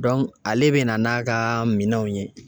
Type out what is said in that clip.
ale bɛna n'a ka minɛnw ye